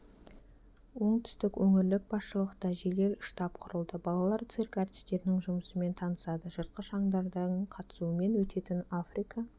оңтүстік өңірлік басшылықта жедел штаб құрылды балалар цирк әртістерінің жұмысымен танысады жыртқыш аңдардың қатысуымен өтетін африка